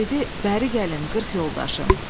Dedi: Bəri gəlin, qırx yoldaşım.